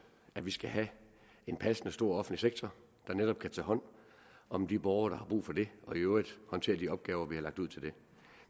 at vi skal have en passende stor offentlig sektor der netop kan tage hånd om de borgere der har brug for det og i øvrigt håndtere de opgaver vi har lagt ud til den